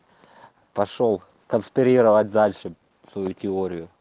пошёл консперировать дальше свою теорию